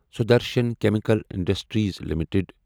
Sudarshan chemical industries limited